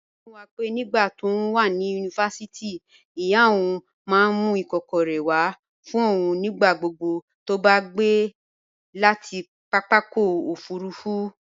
Lola sọ fún wa pé nígbà tóun wà ní yunifásítì, ìyá òun máa ń mú ikokore wá fún òun nígbà gbogbo tó bá gbé láti pápákọ̀ òfuurufú.